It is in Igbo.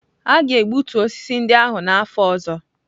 A ga-egbutu osisi ndị ahụ n'afọ ọzọ.